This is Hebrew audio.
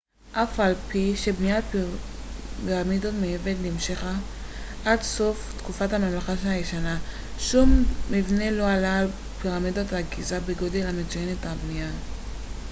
אף על פי שבניית פירמידות מאבן נמשכה עד סוף תקופת הממלכה הישנה שום מבנה לא עלה על הפירמידות בגיזה בגודל ובמצוינות הבנייה